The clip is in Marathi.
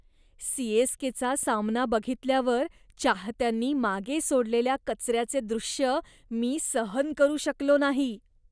सी.एस.के.चा सामना बघितल्यावर चाहत्यांनी मागे सोडलेल्या कचऱ्याचे दृश्य मी सहन करू शकलो नाही.